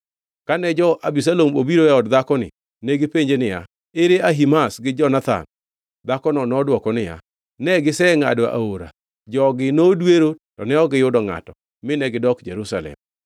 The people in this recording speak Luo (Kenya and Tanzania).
Kane jo-Abisalom obiro e od dhakoni, negipenje niya, “Ere Ahimaz gi Jonathan?” Dhakono nodwoko niya, “Ne gisengʼado aora.” Jogi nodwero to ne ok giyudo ngʼato, mine gidok Jerusalem.